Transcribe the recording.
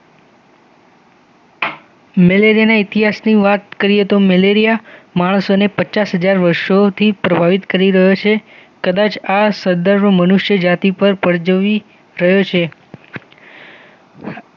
મેલેરિયાના ઇતિહાસની વાત કરીએ તો મેલેરિયા માણસો ને પચાસ હજાર વર્ષોથી પ્રભાવિત કરી રહ્યો છે કદાચ આસદદરું મનુષ્યજતી પર પરજોઈ રહ્યું છે